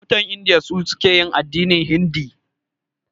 Mutanen Indiya su suke yin addinin hindi.